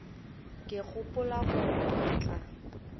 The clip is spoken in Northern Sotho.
ke gopola gore o tla